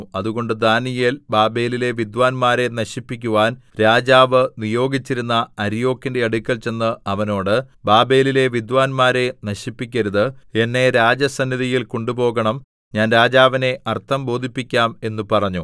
അതുകൊണ്ട് ദാനീയേൽ ബാബേലിലെ വിദ്വാന്മാരെ നശിപ്പിക്കുവാൻ രാജാവ് നിയോഗിച്ചിരുന്ന അര്യോക്കിന്റെ അടുക്കൽ ചെന്ന് അവനോട് ബാബേലിലെ വിദ്വാന്മാരെ നശിപ്പിക്കരുത് എന്നെ രാജസന്നിധിയിൽ കൊണ്ടുപോകണം ഞാൻ രാജാവിനെ അർത്ഥം ബോധിപ്പിക്കാം എന്ന് പറഞ്ഞു